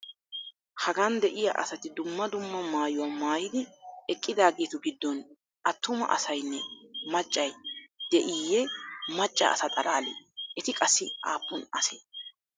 Hagan de'iya asati dumma dumma maayuwa maayidi eqqidaageetu giddon attuma asaynne macca de'iiyye macca asa xalaalee? Eti qassi aappun asee?